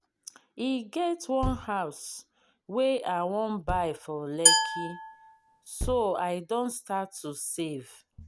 e get one house wey i wan buy for lekki so i don start to save